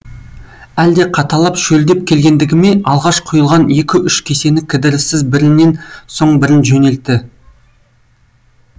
әлде қаталап шөлдеп келгендікі ме алғаш құйылған екі үш кесені кідіріссіз бірінен соң бірін жөнелтті